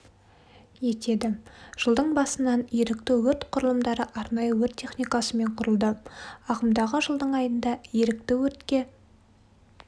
етеді жылдың басынан ерікті өрт құрылымдары арнайы өрт техникасымен құрылды ағымдағы жылдың айында ерікті өртке